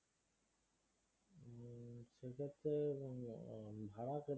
ভাড়া কিরকম?